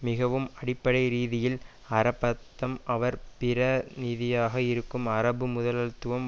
மிகவும் அடிப்படை ரீதியில் அரபத்தும் அவர் பிர நிதியாக இருக்கும் அரபு முதலாளித்துவம்